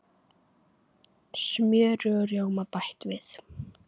Smjöri og rjóma bætt við.